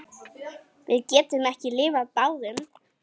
Við getum ekki lifað báðum.